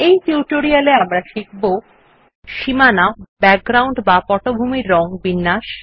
এই টিউটোরিয়াল এ আমরা শিখব সীমানা ব্যাকগ্রাউন্ড বা পটভূমির রং বিন্যাস